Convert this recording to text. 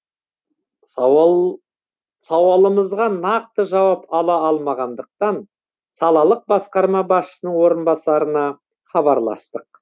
сауалымызға нақты жауап ала алмағандықтан салалық басқарма басшысының орынбасарына хабарластық